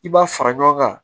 I b'a fara ɲɔgɔn kan